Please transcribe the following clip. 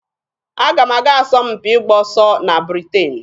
Aga m aga asọmpi ịgba ọsọ na Britain.